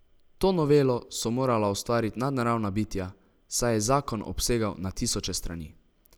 To novelo so morala ustvariti nadnaravna bitja, saj je zakon obsegal na tisoče strani.